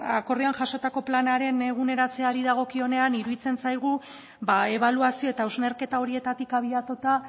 akordioan jasotako planaren eguneratzeari dagokionean iruditzen zaigu ba ebaluazio eta hausnarketa horietatik abiatuta